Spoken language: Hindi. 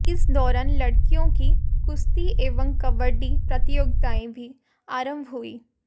इस दौरान लड़कियों की कुश्ती एवं कबड्डी प्रतियोगिताएं भी आरंभ हुई